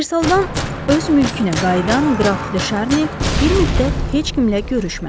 Versaldan öz mülkünə qayıdan qraf De Şarni bir müddət heç kimlə görüşmədi.